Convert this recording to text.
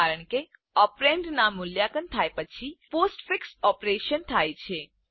કારણ કે ઓપરેન્ડના મૂલ્યાંકન થાય પછી પોસ્ટફિક્સ ઓપરેશન થાય છે